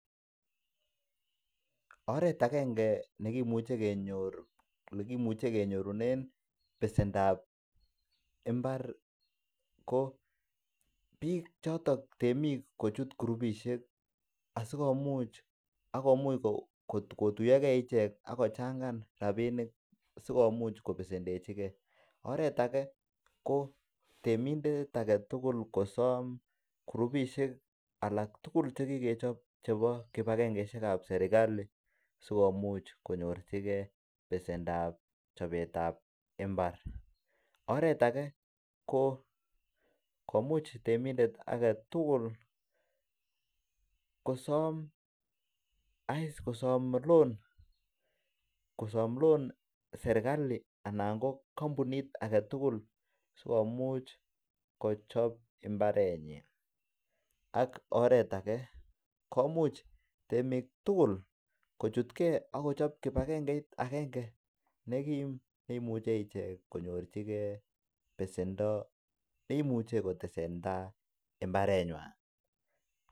Oret agenge nekimuche kenyorunen besendap mbar ko bik choton temik kochut kirupisiek asi komuch kotuyo ge ichek ak kochangan rabinik asi komuch kobesendechi ge oret age ko temindet age tugul kosom kirupisiek alak tugul Che kikechob chebo kibagengesiek ab serkali sikomuch konyorchigei besendap chobetab mbar oret age ko komuch temindet age tugul kosom loan serkali anan ko kampunit age tugul sikomuch kochob mbarenyin ak oret age komuch temik tugul kochutgei ak kochob kibagengeit agenge nekim ne imuche konyorchigei ichek besendo ne imuche kotesan tai mbarenywan